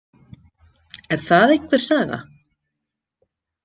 Er það einhver saga?